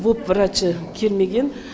воп врачы келмеген